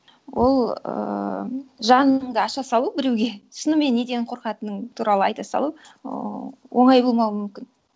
ол ііі жаныңды аша салу біреуге шынымен неден қорқатының туралы айта салу оңай болмауы мүмкін